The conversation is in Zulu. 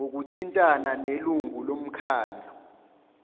ngokuthintana nelungu lomkhandlu